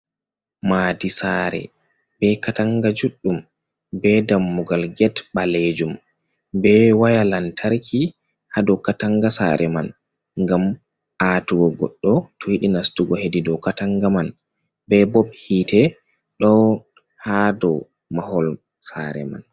Madi saare be katanga juɗɗum be dammugal gate ɓalejum, be waya lantarki ha dou katanga saare man, ngam atugo goɗɗo to yiɗi nastugo hedi dou katanga man, be bo hite ɗo ha dou mahol saare man.